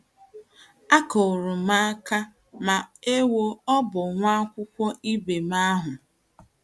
Akụrụ m aka, ma — ewoo — ọ bụ nwa akwụkwọ ibe m ahụ!